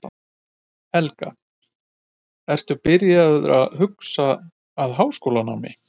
Helga: Ertu byrjaður að huga að háskólanámi?